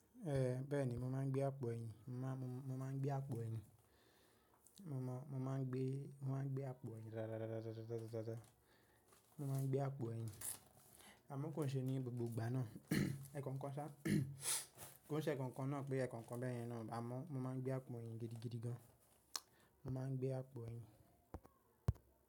Bẹ́ẹ̀ni, mo máa ń gbé àpò ẹ̀yìn. Mo máa ń gbé àpò ẹ̀yìn. Àmọ́ kò ṣe ní gbogbo ìgbà náà. Ẹ kànkan ṣá, kò ṣe ẹ kànkan náà pé ẹ kànkan bẹ́ẹ̀ yẹn náà. Àmọ́ mo máa ń gbé àpò ẹ̀yìn gidigidi gan. Mo máa ń gbé àpò ẹ̀yìn.